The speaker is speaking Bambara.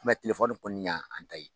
tɛlɛfɔni kɔni y'an ta ye.